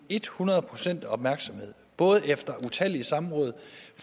et hundrede procents opmærksomhed både efter utallige samråd